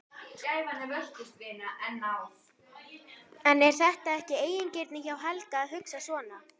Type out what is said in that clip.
En er þetta ekki eigingirni hjá Helga að hugsa svona?